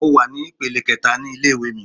Mo wà ní ìpele kẹẹ̀ta ní ilé ìwé mi.